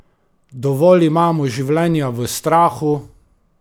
Dovolj imamo življenja v strahu!